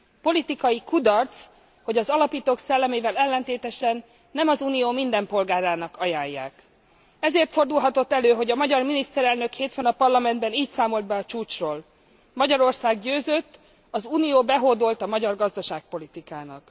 Politikai kudarc, hogy az alapítók szellemével ellentétesen nem az Unió minden polgárának ajánlják. Ezért fordulhatott elő, hogy a magyar miniszterelnök hétfőn a Parlamentben így számolt be a csúcsról Magyarország győzött, az Unió behódolt a magyar gazdaságpolitikának.